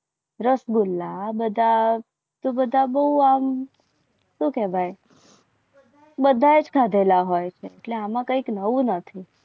રસગુલ્લા બધા તો બધા બહુ એમ શું કહેવાય બધા જ ખાંડેલા હોય છે. એટલે એમાં કંઈ નવું નથી.